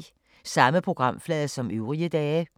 Samme programflade som øvrige dage